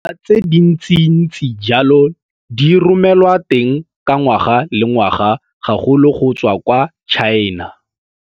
Dinawa tse dintsintsi jalo di romelwa teng ka ngwaga le ngwaga, gagolo go tswa kwa Tšhaena.